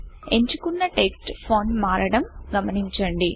ఎంచుకున్న text font మారడం గమనించండి